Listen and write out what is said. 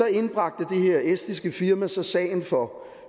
indbragte det her estiske firma så sagen for